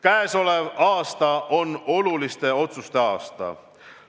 Käesolev aasta on oluliste otsuste aasta.